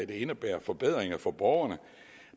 der indebærer forbedringer for borgerne